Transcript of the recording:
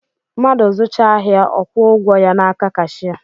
Madụ zụchaa ahịa ọ kwuo ụgwọ ya n’aka kashịa